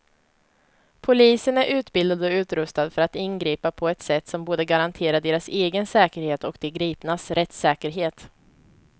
Polisen är utbildad och utrustad för att ingripa på ett sätt som både garanterar deras egen säkerhet och de gripnas rättssäkerhet.